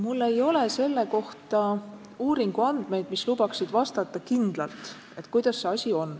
Mul ei ole selle kohta uuringuandmeid, mis lubaksid vastata kindlalt, kuidas see asi on.